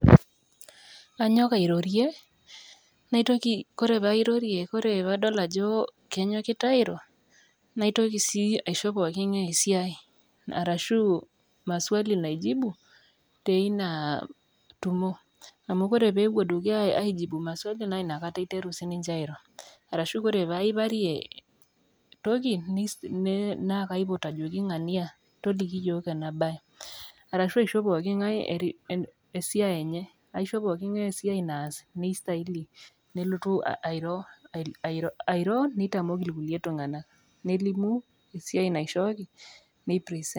Kanyok airorie, naitoki ore pee airorie, ore paa adol ajo kenyokita airo naitoki sii aisho poki ng`ae esiai arashu maswali naijibu teina tumo. Amu ore amu pee epuo dukuya aijibu maswali naa ina kata iteru sii ninche eitoki airo. Arashu ore pee aiparie toki naa kapiot ajoki ng`ania toliki iyiok ena baye. Arshu aisho poki ng`ae esiai enye aisho poki ng`ae esiai naas neistahili nelotu airo, airo neitamok ilkulie tung`anak. Nelimu esiai naishooki nei present.